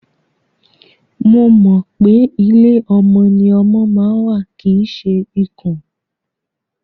Mo mọ̀ pé ilé ọmọ ni ọmọ ma ń wà kìí ṣe ikùn.